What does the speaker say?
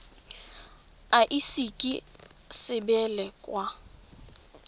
e ise ka sebele kwa